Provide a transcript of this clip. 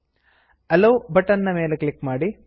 ಅಲ್ಲೋ ಅಲೊ ಬಟನ್ ನ ಮೇಲೆ ಕ್ಲಿಕ್ ಮಾಡಿ